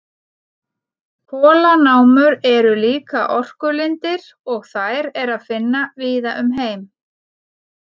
Kolanámur eru líka orkulindir og þær er að finna víða um heim.